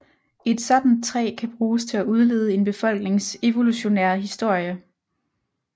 Et sådant træ kan bruges til at udlede en befolknings evolutionære historie